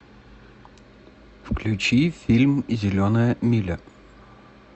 включи фильм зеленая миля